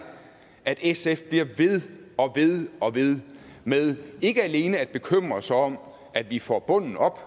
at sf bliver ved og ved og ved med ikke alene at bekymre sig om at vi får bunden op